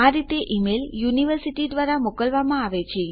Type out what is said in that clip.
આ રીતે ઈમેલ મારી યુનિવર્સિટી દ્વારા મોકલવામાં આવે છે